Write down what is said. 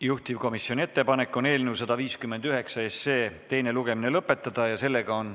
Juhtivkomisjoni ettepanek on eelnõu 159 teine lugemine lõpetada.